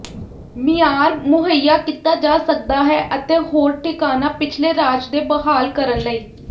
ਮਿਆਰ ਮੁਹੱਈਆ ਕੀਤਾ ਜਾ ਸਕਦਾ ਹੈ ਅਤੇ ਹੋਰ ਠਿਕਾਣਾ ਪਿਛਲੇ ਰਾਜ ਦੇ ਬਹਾਲ ਕਰਨ ਲਈ